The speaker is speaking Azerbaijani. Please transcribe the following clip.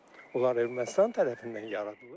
Onlar Ermənistan tərəfindən yaradılıb.